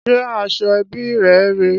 Ṣé aṣọ ẹbí rè rèé?